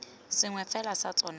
sengwe fela sa tsona se